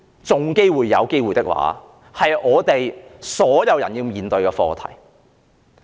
這是香港所有人均要面對的課題。